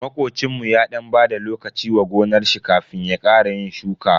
Makocinmu ya dan bada lokaci wa gonar shi kafin ya ƙara yin shuka.